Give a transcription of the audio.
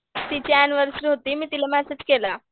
तिची ऍनिव्हर्सरी होती मी तिला मेसेज केला.